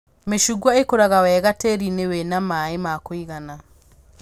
Mĩcungwa ĩkũraga wega tĩĩri-inĩ wĩna maĩ ma kũigana